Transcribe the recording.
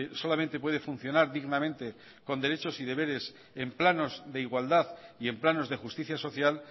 solamente puede funcionar dignamente con derechos y deberes en planos de igualdad y en planos de justicia social